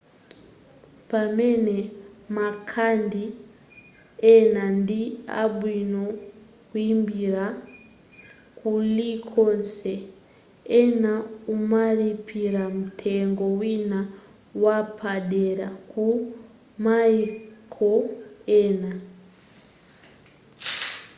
pamene makhadi ena ndi abwino kuimbira kulikonse ena umalipira mtengo wina wapadera ku maiko ena